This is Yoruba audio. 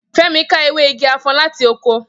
Femi ká ewé igi afon láti oko